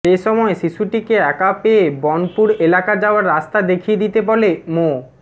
এ সময় শিশুটিকে একা পেয়ে বনপুর এলাকা যাওয়ার রাস্তা দেখিয়ে দিতে বলে মো